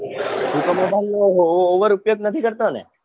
તું તો mobile નો over ઉપયોગ નથી કરતો ને